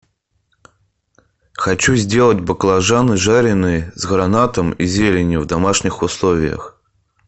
хочу сделать баклажаны жареные с гранатом и зеленью в домашних условиях